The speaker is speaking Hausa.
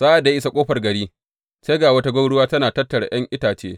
Sa’ad da ya isa ƙofar gari, sai ga wata gwauruwa tana tattara ’yan itace.